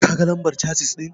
Ka ga lambar casis ɗin?